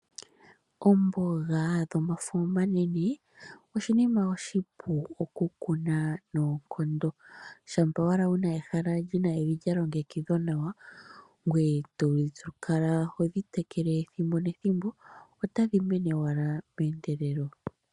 Oomboga dhomafo omanene oshinima oshi pu okukuna noonkondo, shampa owala wuna ehala lina evi lyalongekidhwa nawa ngoye tokala hodhi tekele pethimbo otadhi mene owala meendelelo.